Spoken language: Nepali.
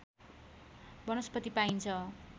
वनस्पति पाइन्छ